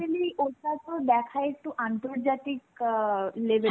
actually, ওটাতো দেখায় একটু আন্তর্জাতিক আ level এ